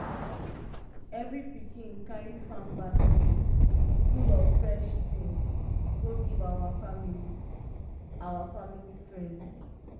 every pikin carry farm basket full of fresh things go give our family our family friends.